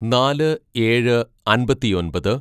"നാല് ഏഴ് അമ്പത്തിയൊമ്പത്‌